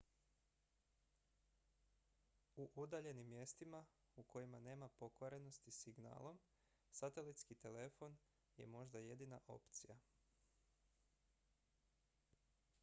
u udaljenim mjestima u kojima nema pokrivenosti signalom satelitski telefon je možda jedina opcija